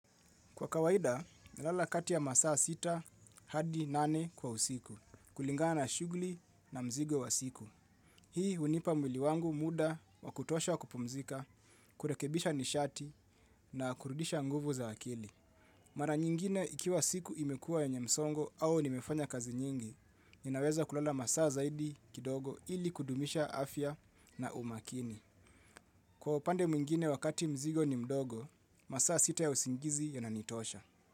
Kwa kawaida, nalala kati ya masaa sita hadi nane kwa usiku, kulingana shughuli na mzigo wa siku. Hii hunipa mwili wangu muda wa kutosha wa kupumzika, kurekebisha nishati na kurudisha nguvu za akili. Mara nyingine ikiwa siku imekuwa yenye msongo au nimefanya kazi nyingi, ninaweza kulala masaa zaidi kidogo ili kudumisha afya na umakini. Kwa upande mwingine wakati mzigo ni mdogo, masaa sita ya usingizi yananitosha.